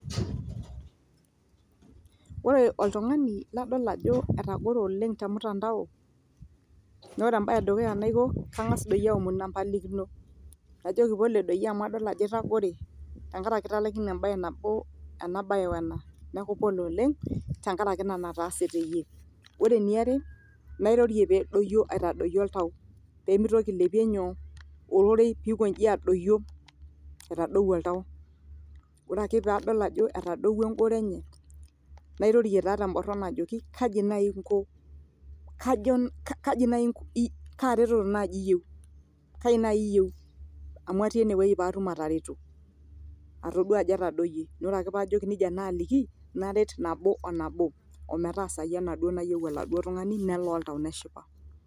Ore oltugani ladol Ajo etagore oleng te mtandao naa ore embae edukuya naiko na kagas doi aomonu empalikino najoki Pole doi amu adol Ajo itagore tenkaraki italaikine embae nabo enabae we ena neeku pole oleng tenkaraki Ina naataase teyie. Ore eniare nairorie peedoyio aitadoiyio oltau pee mitoki ailepie nyoo ororei pee ikonji adoyio aitadou oltau ore ake paadol Ajo etadowuo engoro enye nairorie taa teboron ajoki kaji naaji inko kaaretoro naji iyieu kaji naji amu atii enewueji paatum atareto atodua Ajo etadoyie naa ore ake paajoki nejia naaliki naret nabo o nabo ometaasayu enaduo nayie ele tungani nelaa oltau neshipa.